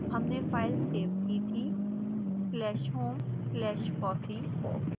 हमने file save की थी